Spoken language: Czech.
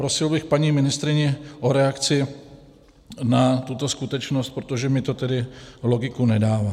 Prosil bych paní ministryni o reakci na tuto skutečnost, protože mi to tedy logiku nedává.